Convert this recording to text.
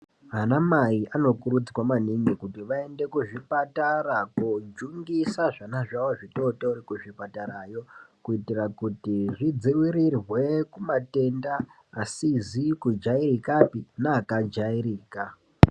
Vana mai ano kurudzirwa maningi kuti vaende ku zvipatara ko jungisa zvana zvawo zvi totori ku zvipatara yo kuitira kuti zvi dzivirirwe ku matenda asizi ku jairikapi ne aka jairika.